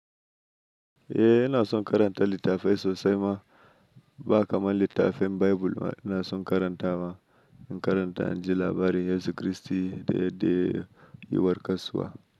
Eh ina son karanta littafai sosai ma, ba kamar littafin Bible ina son karanta wa, in karanta anji labarin Yesu Kristi da yadda ya warke kasuwa.